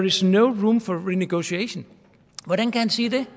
is no room for renegotiation hvordan kan han sige det